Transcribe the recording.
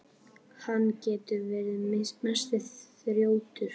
Hann getur verið mesti þrjótur.